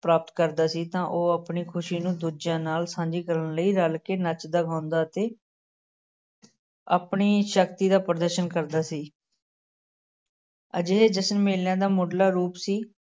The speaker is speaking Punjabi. ਪ੍ਰਾਪਤ ਕਰਦਾ ਸੀ ਤਾਂ ਉਹ ਆਪਣੀ ਖ਼ੁਸ਼ੀ ਨੂੰ ਦੂਜਿਆਂ ਨਾਲ ਸਾਂਝੀ ਕਰਨ ਲਈ ਰਲ ਕੇ ਨੱਚਦਾ ਗਾਉਂਦਾ ਅਤੇ ਆਪਣੀ ਸ਼ਕਤੀ ਦਾ ਪ੍ਰਦਰਸ਼ਨ ਕਰਦਾ ਸੀ ਅਜਿਹੇ ਜਸ਼ਨ ਮੇਲਿਆਂ ਦਾ ਮੁੱਢਲਾ ਰੂਪ ਸੀ।